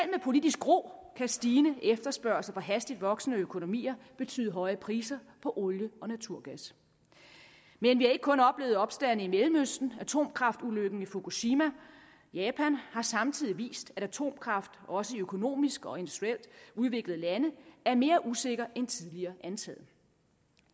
politisk ro kan stigende efterspørgsel fra hastigt voksende økonomier betyde høje priser på olie og naturgas men vi har ikke kun oplevet opstande i mellemøsten atomkraftulykken i fukushima japan har samtidig vist at atomkraft også i økonomisk og industrielt udviklede lande er mere usikker end tidligere antaget